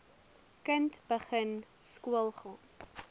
kind begin skoolgaan